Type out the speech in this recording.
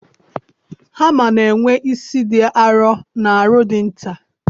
Hama na-enwe isi dị arọ na ahụ dị nta.